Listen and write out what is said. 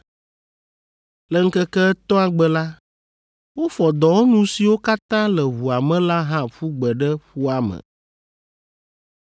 Le ŋkeke etɔ̃a gbe la, wofɔ dɔwɔnu siwo katã le ʋua me la hã ƒu gbe ɖe ƒua me.